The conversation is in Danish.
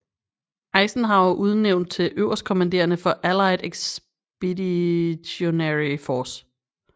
Eisenhower udnævnt til øverstkommanderende for Allied Expeditionary Force